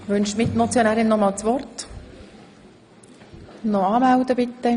Wünscht die Mitmotionärin nochmals das Wort?